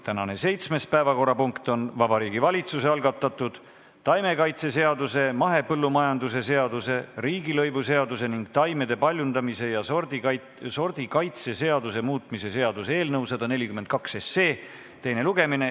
Tänane seitsmes päevakorrapunkt on Vabariigi Valitsuse algatatud taimekaitseseaduse, mahepõllumajanduse seaduse, riigilõivuseaduse ning taimede paljundamise ja sordikaitse seaduse muutmise seaduse eelnõu 142 teine lugemine.